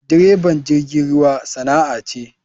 Direban jirgin ruwa sana'a ce.